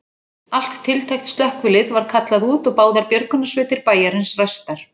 Allt tiltækt slökkvilið var kallað út og báðar björgunarsveitir bæjarins ræstar.